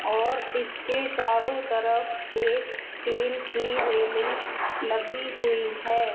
और इसके चारों तरफ एक स्टील की रेलिंग लगी हुई है।